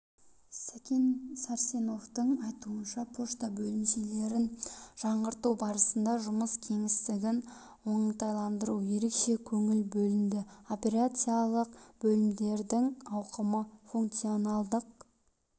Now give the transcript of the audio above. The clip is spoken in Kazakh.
сакен сарсеновтің айтуынша пошта бөлімшелерін жаңғырту барысында жұмыс кеңістігін оңтайландыруға ерекше көңіл бөлінді операциялық бөлмелердің ауқымы функционалдық